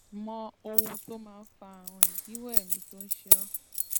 mọ ohun tó máa ń fa ààrùn idíwọ èémí tó ń ṣe ọ